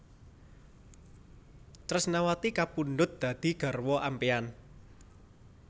Tresnawati kapundhut dadi garwa ampéyan